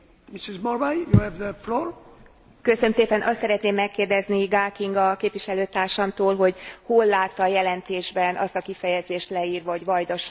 Azt szeretném megkérdezni Gál Kinga képviselőtársamtól, hogy hol látta a jelentésben azt a kifejezést leírva, hogy vajdasági magyarok és a vajdasági magyarok jogai?